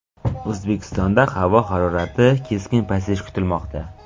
O‘zbekistonda havo harorati keskin pasayishi kutilmoqda.